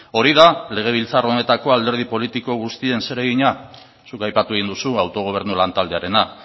hori da legebiltzar honetako alderdi politiko guztien zeregina zuk aipatu egin duzu autogobernu lantaldearena